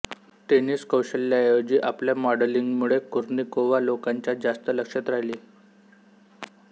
tennis कौशल्याऐवजी आपल्या मॉडेलिंगमुळे कुर्निकोव्हा लोकांच्या जास्त लक्षात राहिली